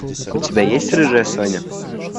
у тебя есть рыжая соня